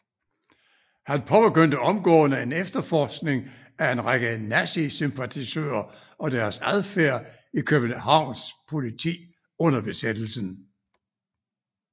Han påbegyndte omgående en efterforskning af en række nazi sympatisører og deres adfærd i Københvans politi under besættelsen